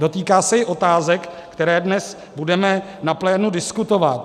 Dotýká se i otázek, které dnes budeme na plénu diskutovat.